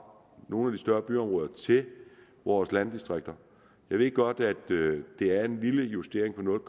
nogle større byområder til vores landdistrikter jeg ved godt at det er en lille justering på nul